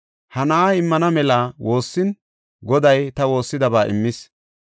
Ha na7aa immana mela woossin, Goday ta woossidaba immis.